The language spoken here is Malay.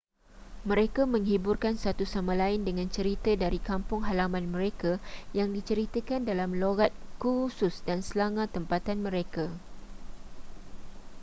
mereka menghiburkan satu sama lain dengan cerita dari kampung halaman mereka yang diceritakan dalam loghat khusus dan slanga tempatan mereka